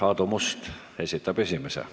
Aadu Must esitab esimese küsimuse.